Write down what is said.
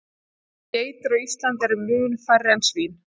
Geitur á Íslandi eru mun færri en svín.